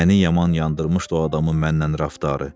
Məni yaman yandırmışdı o adamın mənlə rəftarı.